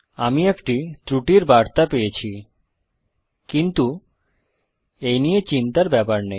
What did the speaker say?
আমি একটি ত্রুটির বার্তা পেয়েছি কিন্তু এই নিয়ে চিন্তার ব্যাপার নেই